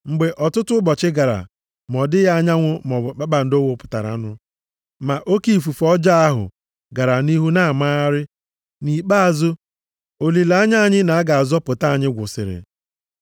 Mgbe ọtụtụ ụbọchị gara ma ọ dịghị anyanwụ maọbụ kpakpando wapụtaranụ, ma oke ifufe ọjọọ ahụ gara nʼihu na-amagharị, nʼikpeazụ olileanya anyị na a ga-azọpụta anyị gwụsịrị.